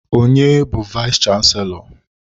Onye bu vayis chansilọ?